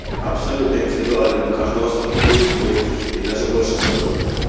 абсолютно индивидуален каждого сорта будет свой и даже больше скажу